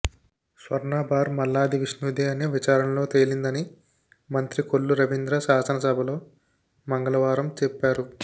స్వర్ణబార్ మల్లాది విష్ణుదే అని విచారణలో తేలిందని మంత్రి కొల్లు రవీంద్ర శాసన సభలో మంగళవారం చెప్పారు